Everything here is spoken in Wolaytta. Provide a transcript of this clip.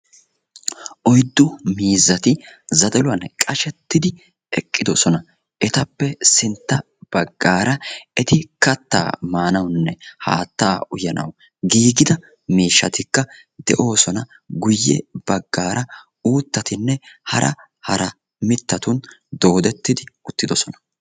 Oyddu miizzati zadaluwan qashettidi eqidosona. Etappe sintta baggaara eti kattaa maanawune haatta uyanawu giigida miishatikka de"oosona. Guye baggaara uuttatinne hara hara mittatun doodetidi uttidosona.